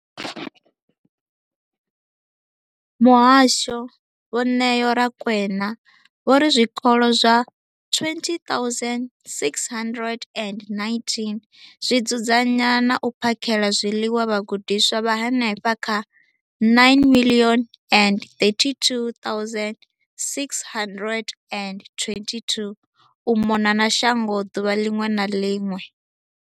Muhasho, Vho Neo Rakwena, vho ri zwikolo zwa 20 619 zwi dzudzanya na u phakhela zwiḽiwa vhagudiswa vha henefha kha 9 032 622 u mona na shango ḓuvha ḽiṅwe na ḽiṅwe.